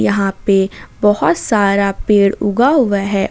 यहां पे बहोत सारा पेड़ उगा हुआ है।